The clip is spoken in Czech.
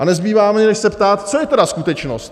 A nezbývá mi, než se ptát: Co je tedy skutečnost?